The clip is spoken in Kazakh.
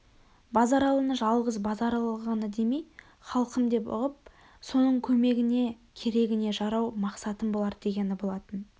базаралыны жалғыз базаралы ғана демей халқым деп ұғып соның көмегіне керегіне жарау мақсатым болар дегені болатын